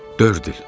Dörd il.